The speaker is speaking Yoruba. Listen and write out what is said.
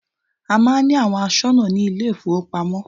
A máà ń ní àwọn aṣọ́nà ní ilé ìfọwọ́pamo.